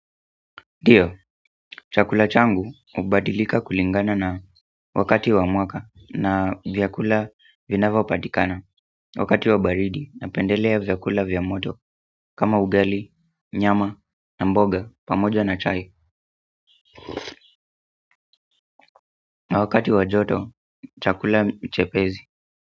Nduo, chakula changu hubadilika kulingana na wakati wa mwaka na vyakula vinavyipatikana wakati wa baridi napendelea vyakula vya moto kama ugali, nyama na mboga pamoja na chai na wakati wa joto, chakula chepesi.